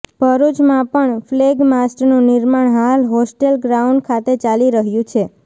ભરૃચમાં પણ ફલેગમાસ્ટનું નિર્માણ હાલ હોસ્ટેલ ગ્રાઉન્ડ ખાતે ચાલી રહ્યુ છે